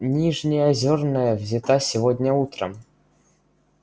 нижнеозерная взята сегодня утром